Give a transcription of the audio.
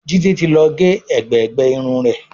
Jide tí ló gé ègbé gbé Irun rẹ.